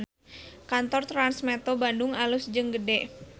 Kantor Trans Metro Bandung alus jeung gede